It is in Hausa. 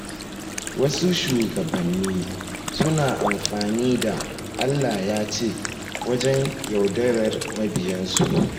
Wasu shugabanni suna amfani da “Allah ya ce” wajen yaudarar mabiyansu.